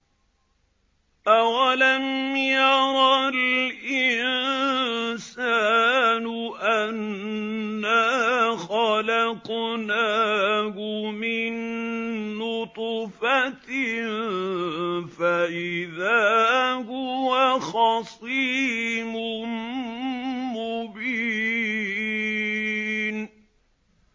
أَوَلَمْ يَرَ الْإِنسَانُ أَنَّا خَلَقْنَاهُ مِن نُّطْفَةٍ فَإِذَا هُوَ خَصِيمٌ مُّبِينٌ